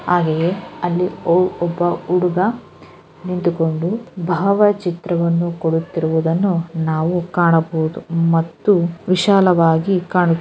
ಹಾಗೆಯೇ ಅಲ್ಲಿ ಓ ಒಬ್ಬ ಹುಡುಗ ನಿಂತುಕೊಂಡು ಭಾವಚಿತ್ರವನ್ನು ಕೊಡುತ್ತಿರುವುದನ್ನು ನಾವು ಕಾಣಬಹುದು ಮತ್ತು ವಿಶಾಲವಾಗಿ ಕಾಣುತ್ --